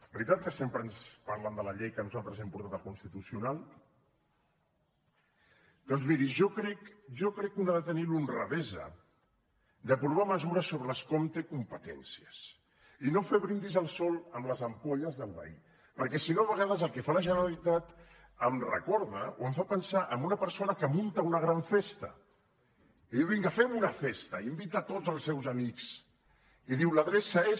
veritat que sempre ens parlen de la llei que nosaltres hem portat al constitucional doncs miri jo crec jo crec que un ha de tenir l’honradesa d’aprovar mesures sobre les que hom té competències i no fer brindis al sol amb les ampolles del veí perquè si no a vegades el que fa la generalitat em recorda o em fa pensar en una persona que munta una gran festa i diu vinga fem una festa i hi invita tots els seus amics i diu l’adreça és